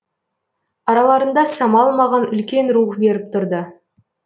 араларында самал маған үлкен рух беріп тұрды